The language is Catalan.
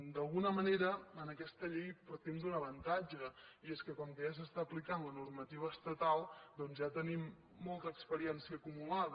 d’alguna manera en aquesta llei partim d’un avantatge i és que com que ja s’aplica la normativa estatal doncs ja tenim molta experiència acumulada